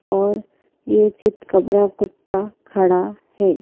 और ये चिंतकबरा कुत्ता खड़ा है।